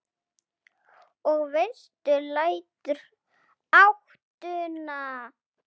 Og vestur lætur ÁTTUNA.